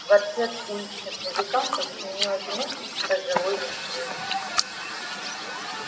квартет уличных музыкантов сменил одинокий пожилой мужчина с гитарой